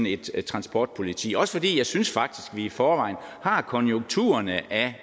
et transportpoliti også fordi jeg synes faktisk i forvejen har konturerne af